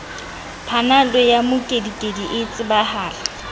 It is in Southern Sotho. panado ya mokedikedi e tsebahala